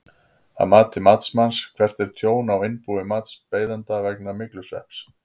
Að mati matsmanns, hvert er tjón á innbúi matsbeiðanda vegna myglusvepps?